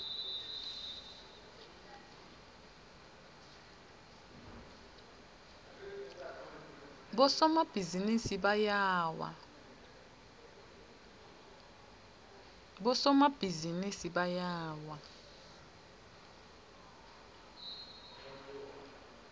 bosomabhizinisi bayawa